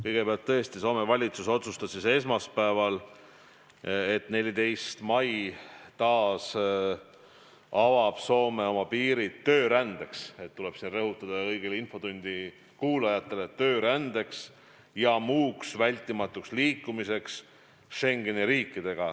Kõigepealt, tõesti, Soome valitsus otsustas esmaspäeval, et 14. mail avab Soome taas oma piirid töörändeks – ja tuleb kõigile infotunni kuulajatele rõhutada, et töörändeks – ja muuks vältimatuks liikumiseks Schengeni riikides.